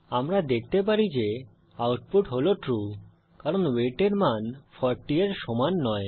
আমরা দেখতে পারি যে আউটপুট হল ট্রু কারণ ওয়েট এর মান 40 এর সমান নয়